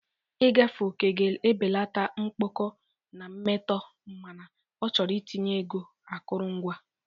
Ịgafe oke ga-ebelata mkpọkọ na mmetọ mana ọ chọrọ itinye ego akụrụngwa.